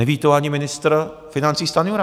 Neví to ani ministr financí Stanjura.